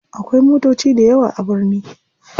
Akwai motoci dayawa a birni.